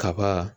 Kaba